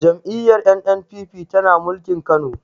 Jam'iyyar N.N.p.p tana mulkin kano